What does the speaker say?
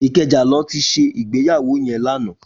Ikeja lò ti sé igbéyàwó yèn làná